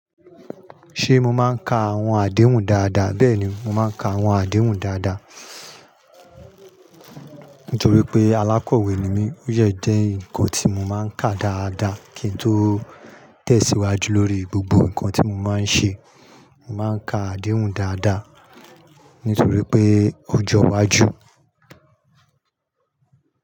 Ṣé mo máa ń ka àwọn àdéhùn dáadáa? Bẹ́ẹ̀ni, mo máa ń ka àwọn àdéhùn dáadáa nítorí pé alákọ̀wé ni mí. Ó yẹ jẹ́ nǹkan tí mo máa ń ka dáadáa kí n tó tẹ̀síwájú lórí gbogbo nǹkan tí mo máa ń ṣe. Mo máa ń ka àdéhùn dáadáa nítorí pé ọjọ́ iwájú.